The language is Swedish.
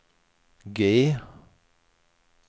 G